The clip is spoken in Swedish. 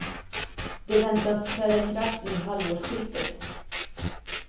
De väntas träda i kraft vid halvårsskiftet.